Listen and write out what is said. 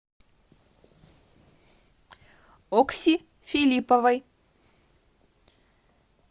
окси филипповой